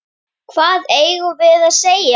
Hvað eigum við að segja?